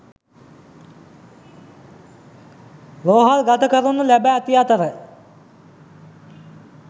රෝහල් ගත කරනු ලැබ ඇති අතර